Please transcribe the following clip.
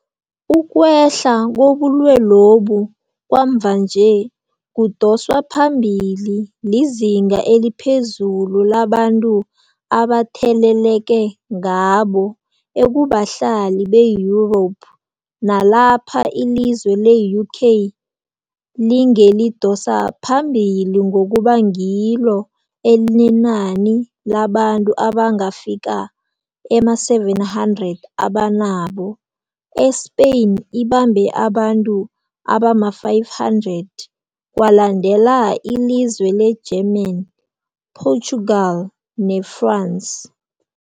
Ukwehla kobulwelobu kwamvanje, kudoswa phambili lizinga eliphezulu labantu abatheleleke ngabo ekubahlali be-Europe, nalapha ilizwe le-UK lingelidosa phambili ngokuba ngilo elinenani labantu abangafika ema-700 abanabo, e-Spain ibambe abantu abama-500, kwalandela ilizwe le-German, Portugal ne-France.